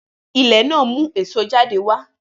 Ilẹ̀ náà mu èso jáde wá